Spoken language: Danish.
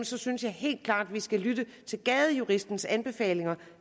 så synes jeg helt klart at vi skal lytte til gadejuristens anbefalinger